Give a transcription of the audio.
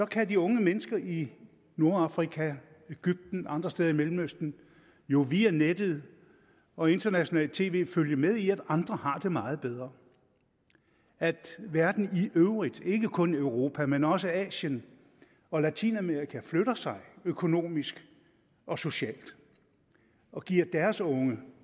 kan de unge mennesker i nordafrika egypten og andre steder i mellemøsten jo via nettet og internationalt tv følge med i at andre har det meget bedre at verden i øvrigt ikke kun europa men også asien og latinamerika flytter sig økonomisk og socialt og giver deres unge